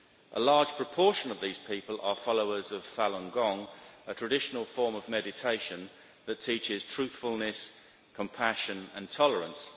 A large proportion of these people are followers of Falun Gong, a traditional form of meditation that teaches truthfulness, compassion and tolerance.